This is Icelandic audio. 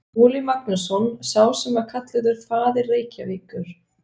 Skúli Magnússon, sá sem var kallaður faðir Reykjavíkur.